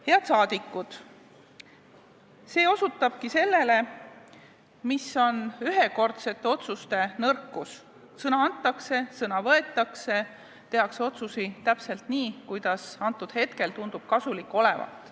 Head saadikud, see osutabki sellele, mis on ühekordsete otsuste nõrkus: sõna antakse, sõna võetakse, otsuseid tehakse täpselt nii, kuidas hetkel tundub kasulik olevat.